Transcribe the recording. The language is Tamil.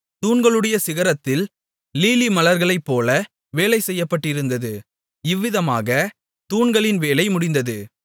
தூண்களுடைய சிகரத்தில் லீலிமலர்களைப்போல வேலை செய்யப்பட்டிருந்தது இவ்விதமாகத் தூண்களின் வேலை முடிந்தது